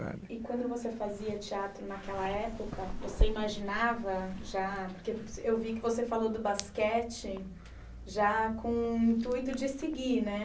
E quando você fazia teatro naquela época, você imaginava já, porque eu vi que você falou do basquete, já com o intuito de seguir né.